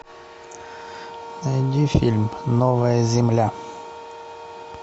найди фильм новая земля